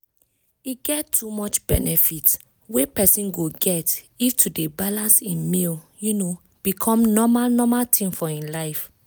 e get too much benefits wey persin go get if to dey balance hin meal um become normal normal thing for hin life.